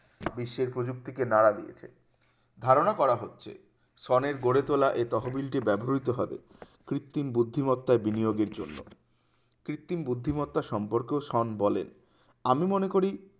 বিশ্বের প্রযুক্তিকে নাড়া দিয়েছে ধারণা করা হচ্ছে সনের গড়ে তোলা এই তহবিলটি ব্যবহৃত হবে কৃত্রিম বুদ্ধিমত্তা বিনিয়োগের জন্য কৃত্রিম বুদ্ধিমত্তা সম্পর্কে সন বলেন আমি মনে করি